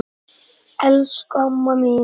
Elsku amma mín!